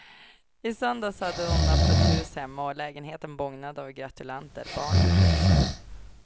I söndags hade hon öppet hus hemma och lägenheten bågnade av gratulanter, barn och vuxna.